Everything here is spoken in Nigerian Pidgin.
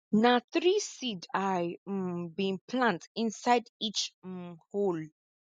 na three seed i um bin plant inside each um hole